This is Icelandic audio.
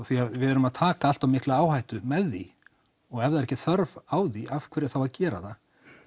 því við erum að taka allt of mikla áhættu með því og ef það er ekki þörf á því af hverju þá að gera það